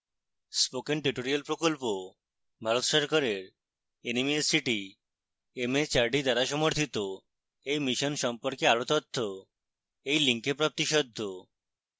spoken tutorial প্রকল্প ভারত সরকারের nmeict mhrd দ্বারা সমর্থিত এই mission সম্পর্কে আরো তথ্য এই link প্রাপ্তিসাধ্য